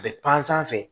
A bɛ pansan fɛ